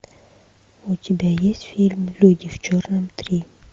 у тебя есть фильм люди в черном три